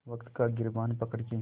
वक़्त का गिरबान पकड़ के